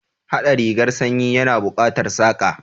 Haɗa rigar sanyi ya na buƙatar Saƙa